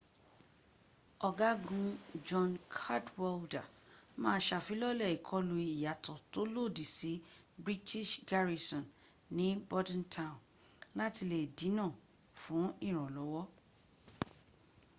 ọ̀gágun john cadwalder ma ṣàfilọ́lẹ̀ ìkọlù ìyàtọ̀ tó lòdì sí british garrison ní bordentown láti lè dínà fún ìrànlọ́wọ́